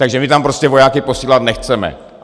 Takže my tam prostě vojáky posílat nechceme.